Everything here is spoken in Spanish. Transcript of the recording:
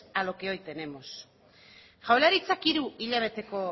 a los que hoy tenemos jaurlaritzak hiru hilabeteko